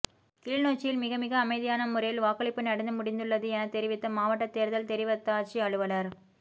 கிளிநொச்சியில் மிகமிக அமைதியான முறையில் வாக்களிப்பு நடந்து முடிந்துள்ளது எனத் தெரிவித்த மாவட்ட தேர்தல் தெரிவத்தாட்சி அலுவலர்